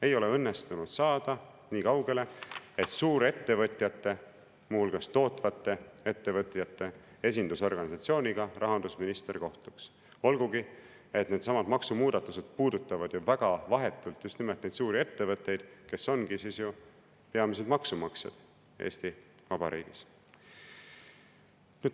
Ei ole õnnestunud saada nii kaugele, et rahandusminister kohtuks suurettevõtjate, muu hulgas tootvate ettevõtjate esindusorganisatsiooniga, olgugi et needsamad maksumuudatused puudutavad vahetult just nimelt neid suuri ettevõtteid, kes ongi peamised maksumaksjad Eesti Vabariigis.